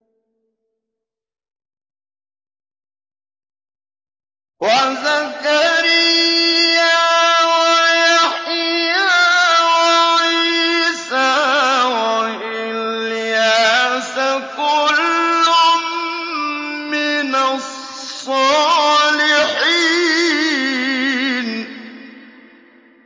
وَزَكَرِيَّا وَيَحْيَىٰ وَعِيسَىٰ وَإِلْيَاسَ ۖ كُلٌّ مِّنَ الصَّالِحِينَ